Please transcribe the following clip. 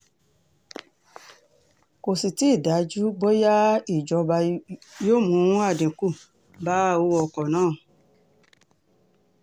kò sì tì í dájú bóyá ìjọba yóò mú àdínkù bá owó ọkọ̀ náà